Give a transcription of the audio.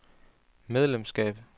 medlemskab